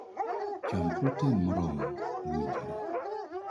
Cham protein moromo (mowinjore).